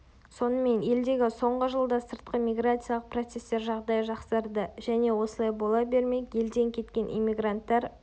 сонымен елдегі соңғы жылда сыртқы миграциялық процестер жағдайы жақсарды және осылай бола бермек елден кеткен эммигранттар